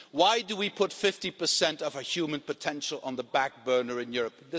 Why do we put 50 of our human potential on the back burner in Europe?